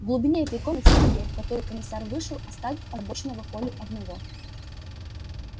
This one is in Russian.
в глубине этой комнаты была дверь в которую комиссар вышел оставив озабоченного колю одного